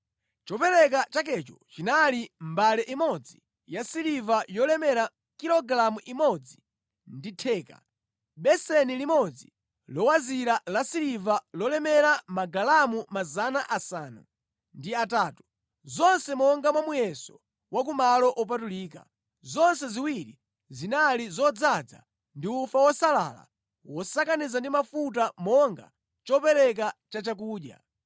Chopereka chakecho chinali mbale imodzi yasiliva yolemera kilogalamu imodzi ndi theka, beseni limodzi lowazira lasiliva lolemera magalamu 800, zonse monga mwa muyeso wa ku malo opatulika; zonse ziwiri zinali zodzaza ndi ufa wosalala wosakaniza ndi mafuta monga chopereka chachakudya;